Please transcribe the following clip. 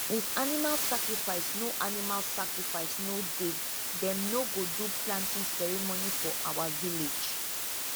if animal sacrifice no animal sacrifice no dey them no go do planting ceremony for our village